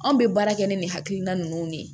Anw bɛ baara kɛ ni nin hakilina ninnu de ye